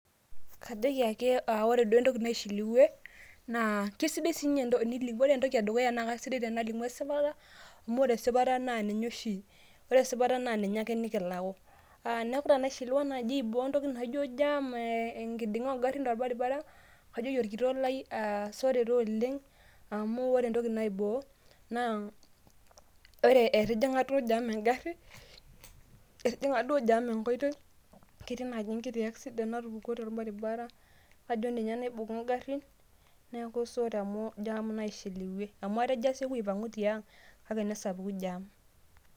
kajoki ake ore duoo entoki naishiliwie kisidai sinye tenil ore entoki edukuya naa kasidai tenalimu esipata amu ore esipata naa ninye oshi ,ore esipata naa ninye ake nikilaku. niaku tenaishiliwa naji aiboo entoki naijo jam ee enkidinga oongarin torbaribara aa najoki orkitok lai aa sore taa oleng amu ore entoki naiboo ore etijinga duo jam ngarin ,etijinga duo jam enkoitoi ,ketii naji enkiti accident natupukuo torbaribara, kajo ninye naibunga ngarin niaku sore amu jam naishiliwie . amu atejo asieku tiang kake nesapuku jam